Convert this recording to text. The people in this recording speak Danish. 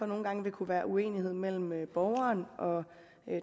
nogle gange kunne være uenighed mellem borgeren og